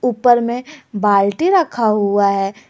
ऊपर में बाल्टी रखा हुआ है।